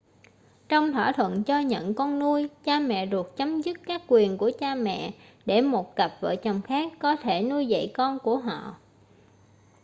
trong thỏa thuận cho-nhận con nuôi cha mẹ ruột chấm dứt các quyền của cha mẹ để một cặp vợ chồng khác có thể nuôi dạy con của họ